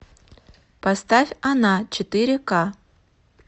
поставь она четыре ка